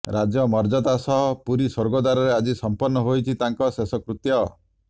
ରାଜ୍ୟ ମର୍ଯ୍ୟାଦା ସହ ପୁରୀ ସ୍ୱର୍ଗଦ୍ୱାରରେ ଆଜି ସମ୍ପନ୍ନ ହୋଇଛି ତାଙ୍କ ଶେଷ କୃତ୍ୟ